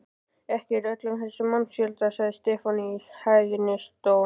Ekki í öllum þessum mannfjölda, sagði Stefán í hæðnistón.